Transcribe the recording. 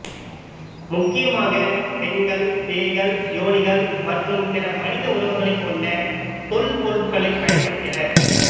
முக்கியமாக பெண்கள் பேய்கள் யோனிகள் மற்றும் பிற மனித உருவங்களைக் கொண்ட தொல்பொருட்களைப் பயன்படுத்தினர்